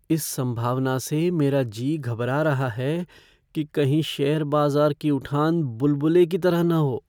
इस संभावना से मेरा जी घबरा रहा है कि कहीं शेयर बाज़ार की उठान बुलबुले की तरह न हो।